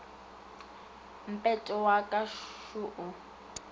mpete wa ka šo o